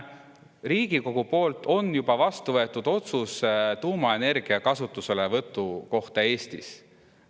Riigikogu on juba vastu võtnud otsuse tuumaenergia kasutuselevõtu kohta Eestis.